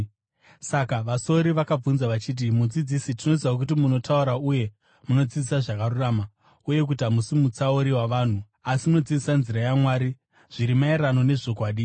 Saka vasori vakamubvunza vachiti, “Mudzidzisi, tinoziva kuti munotaura uye munodzidzisa zvakarurama, uye kuti hamusi mutsauri wavanhu asi munodzidzisa nzira yaMwari zviri maererano nezvokwadi.